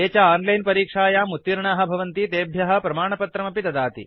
ये च आन्लैन् परीक्षायाम् उत्तीर्णाः भवन्ति तेभ्यः प्रमाणपत्रम् अपि ददाति